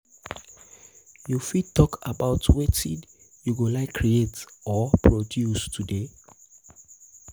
you fit talk about wetin you go like create or produce today?